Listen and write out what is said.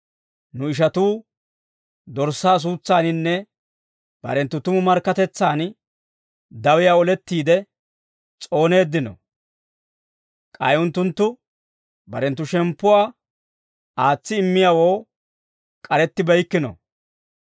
Nu ishatuu Dorssaa suutsaaninne, barenttu tumu markkatetsan dawiyaa olettiide s'ooneeddino. K'ay unttunttu barenttu shemppuwaa aatsi immiyaawoo, k'arettibeykkino.